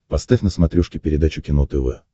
поставь на смотрешке передачу кино тв